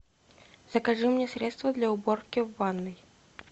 закажи мне средство для уборки в ванной